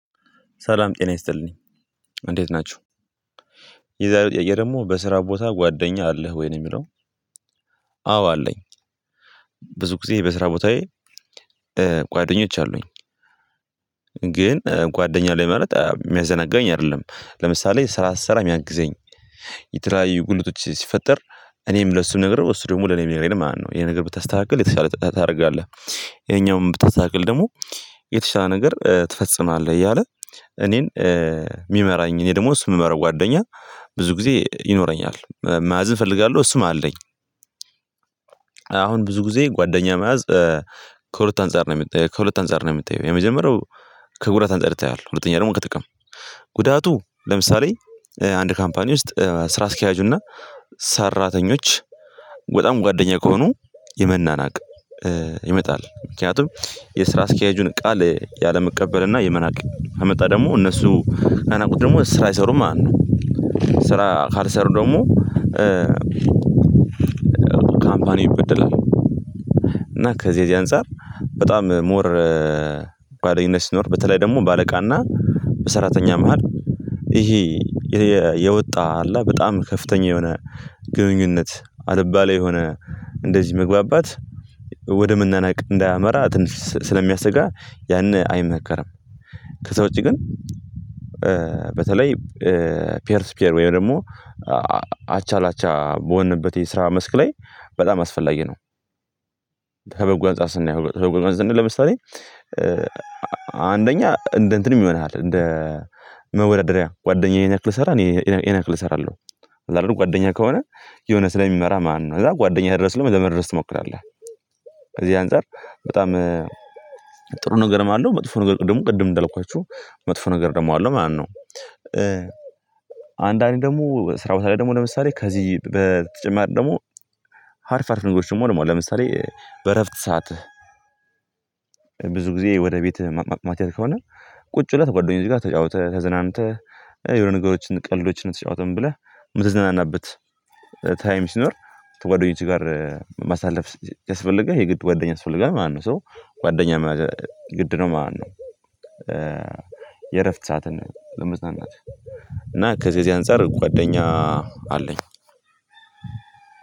ሰላም ጤና ይስጥልኝ። እንዴት ናቹህ? የዛሬው ጥያቄ ደግሞ በስራ ቦታ ጓደኛ አለህ ወይ? ነው የሚለው። አዎ አለኝ። ብዙ ጊዜ በስራ ቦታዬ ጓደኞች አሉኝ። ግን ጓደኛ አለኝ ማለት የሚያዘነጋኝ አይደለም። ለምሳሌ ስራ ስሰራ የሚያግዘኝ፤ የተለያዩ ጉድለቶች ሲፈጠር እኔም ለእሱ ነግሬው እሱ ደግሞ ለኔ ሚነግረኝ ማለት ነው። ይሄ ነገር ብታስተካክል የተሻለ ነገር ታደርጋለህ። ይሄኛውም ብታስተካክል ደግሞ የተሻለ ነገር ትፈጽማለህ። እያለ እኔን የሚመራኝ እኔ ደግሞ እሱን የምመራው ጓደኛ ብዙ ጊዜ ይኖረኛል። መያዝ እፈልጋለሁ። እሱም አለኝ አሁን ብዙ ጊዜ ጓደኛ መያዝ ከሁለት አንፃር ነው የሚታየው። ከሁለት አንፃር ነው የሚታየው። የመጀመሪያው ከጉዳት አንፃር ይታያል። ሁለተኛ ደግሞ ከጥቅም። ጉዳቱ ለምሳሌ አንድ ካምፓኒ ውስጥ ስራ አስኪያጁና ሰራተኞች በጣም ጓደኛ ከሆኑ የመናናቅ ይመጣል። ምክንያቱም የስራ አስኪያጁን ቃል ያለመቀበልና የመናቅ ከመጣ ደግሞ እነሱ ከናቁት ደግሞ ስራ አይሰሩም ማለት ነው። ስራ ካልሰሩ ደግሞ ካምፓኒ ይበድላል። እና ከዚህ የዚህ አንፃር በጣም ሞር ጓደኝነት ሲኖር በተለይ ደግሞ በአለቃና በሰራተኛ መሃል ይሄ የወጣ አለ በጣም ከፍተኛ የሆነ ግንኙነት አልባሌ የሆነ እንደዚህ መግባባት ወደ መናናቅ እንዳያመራ ስለሚያስጋ ያን አይመከርም። ከዛ ውጪ ግን በተለይ ፒየርስ ፒየር ወይም ደግሞ አቻላቻ በሆንንበት የስራ መስክ ላይ በጣም አስፈላጊ ነው። ከበጎ አንፃር ስናየው ከበጎ ለምሳሌ አንደኛ እንደ እንትን ይሆንሃል እንደ መወዳደሪያ። ጓደኛዬን ይሄን ያክል ከሰራ እኔ ይሄን ያክል እሰራለሁ። አለ አይደል ጓደኛ ከሆነ የሆነ ስለሚመራህ ማለት ነው። ከዛ ጓደኛዬ ድረስ ደግሞ ለመድረስ ትሞክራለህ። ከዚህ አንፃር በጣም ጥሩ ነገርም አለው። መጥፎ ነገሩ ደግሞ ቅድም እንዳልኳችሁ መጥፎ ነገር ደግሞ አለው ማለት ነው። አንዳንዴ ደግሞ ስራ ቦታ ላይ ደግሞ ለምሳሌ ከዚህ በተጨማሪ ደግሞ አሪፍ አሪፍ ነግሮች ደግሞ አሉ። ለምሳሌ በእረፍት ሰዓትህ ብዙ ጊዜ ወደ ቤትህ ማትሄድ ከሆነ ቁጭ ብለህ ከጓደኞችህ ጋር ተጫውተህ ተዝናንተህ የሆነ ነገሮችን ቀልዶችን ተጫውተህ ምን ብለህ የምትዘናናበት ታይም ሲኖር ከጓደኞች ጋር ማሳለፍ ያስፈልጋል። የግድ ጓደኛ ያስፈልጋል ማለት ነው። ሶ ጓደኛ መያዝ ግድ ነው ማለት ነው። የእረፍት ሰዓትን ለመዝናናት እና ከዚህ የዚህ አንፃር ጓደኛ አለኝ።